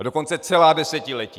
A dokonce celá desetiletí.